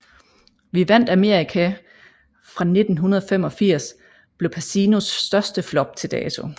Vi vandt Amerika fra 1985 blev Pacinos største flop til dato